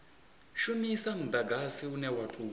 shumisa mudagsai une wa tou